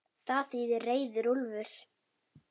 Það þýðir reiður úlfur.